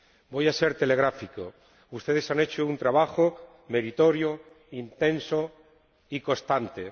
Voy a ser telegráfico ustedes han hecho un trabajo meritorio, intenso y constante.